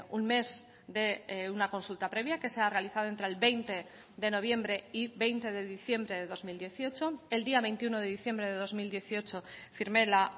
un mes de una consulta previa que se ha realizado entre el veinte de noviembre y veinte de diciembre de dos mil dieciocho el día veintiuno de diciembre de dos mil dieciocho firmé la